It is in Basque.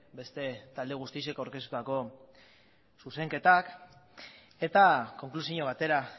beste talde guztiek aurkeztutako zuzenketak eta konklusio batera